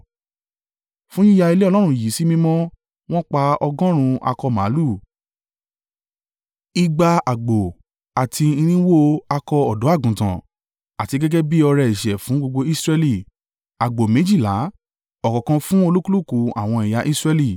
Fún yíya ilé Ọlọ́run yìí sí mímọ́, wọ́n pa ọgọ́rùn-ún akọ màlúù, igba àgbò àti irinwó (400) akọ ọ̀dọ́-àgùntàn, àti gẹ́gẹ́ bí ọrẹ ẹ̀ṣẹ̀ fún gbogbo Israẹli, àgbò méjìlá, ọ̀kọ̀ọ̀kan fún olúkúlùkù àwọn ẹ̀yà Israẹli.